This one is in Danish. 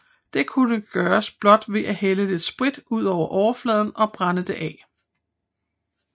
Det kunne gøres blot ved at hælde lidt sprit ud på overfladen og brænde det af